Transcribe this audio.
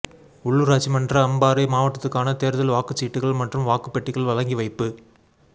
உள்ளூராட்சி மன்ற அம்பாறை மாவட்டத்துக்கான தேர்தல் வாக்குச் சீட்டுகள் மற்றும் வாக்குப் பெட்டிகள் வழங்கி வைப்பு